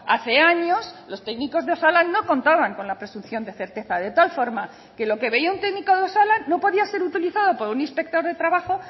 hace años los técnicos de osalan no contaban con la presunción de certeza de tal forma que lo que veía un técnico de osalan no podía ser utilizado por un inspector de trabajo